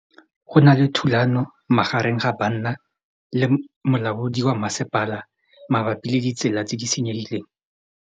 Go na le thulanô magareng ga banna le molaodi wa masepala mabapi le ditsela tse di senyegileng.